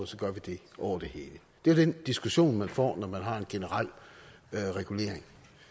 så gør vi det over det hele det er den diskussion man får når man har en generel regulering